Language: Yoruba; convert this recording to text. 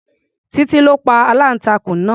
Titi ló pa aláǹtakùn náà.